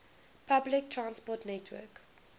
public transport network